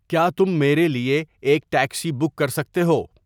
کیا تم میرے لیے ایک ٹیکسی بک کر سکتے ہو